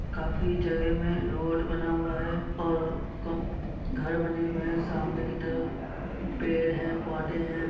काफी जगह में रोड बना हुआ है और गम घर बने हुआ है सामने की तरफ पेड़ है पौधे है।